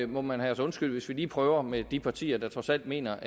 må man have os undskyldt hvis vi lige prøver med de partier der trods alt mener